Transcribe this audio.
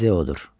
Baldeodur.